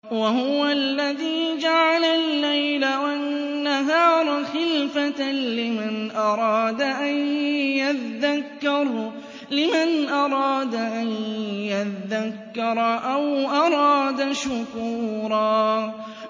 وَهُوَ الَّذِي جَعَلَ اللَّيْلَ وَالنَّهَارَ خِلْفَةً لِّمَنْ أَرَادَ أَن يَذَّكَّرَ أَوْ أَرَادَ شُكُورًا